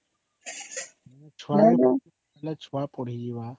ପିଲା ଛୁଆ ପଢି ଯିବା